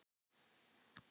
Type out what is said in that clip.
Hún nálgast manninn hægt.